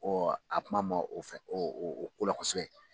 a kuma man o fɛ o o kola kosɛbɛ.